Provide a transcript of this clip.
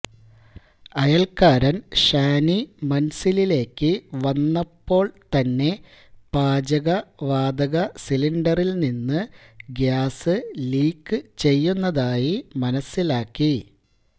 അയൽക്കാരൻ ഷാനി മൻസിലിലേക്ക് വന്നപ്പോൾ തന്നെ പാചകവാതക സിലിണ്ടറിൽ നിന്ന് ഗ്യാസ് ലീക്ക് ചെയ്യുന്നതായി മനസിലാക്കി